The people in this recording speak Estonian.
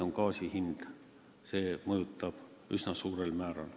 See mõjutab seda üsna suurel määral.